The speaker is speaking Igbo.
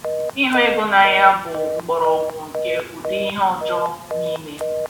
"Ịhụ ego n’anya bụ mgbọrọgwụ nke ụdị ihe ọjọọ niile."